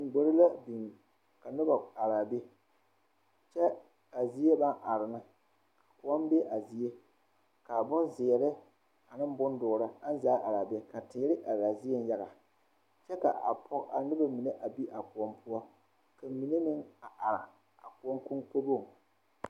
Gbore la biŋ ka noba araa be kyɛ a zie baŋ are ne koɔ be a zie ka boŋzeere ane boŋdoɔre aŋ zaa araa zie ka teere araa zieŋ yaga kyɛ ka a noba mine a be a koɔ poɔ ka mine meŋ are a koɔ koŋkoboŋ.